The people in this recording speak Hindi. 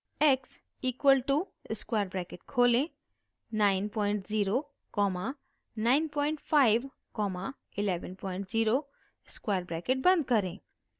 x equal to square bracket खोलें 90 कॉमा 95 कॉमा 110 स्क्वायर ब्रैकेट बंद करें